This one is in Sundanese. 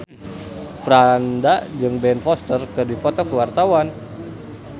Franda jeung Ben Foster keur dipoto ku wartawan